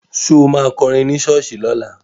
Ṣo ma kọrin ní ṣọ́ọ̀ṣì lọ́la?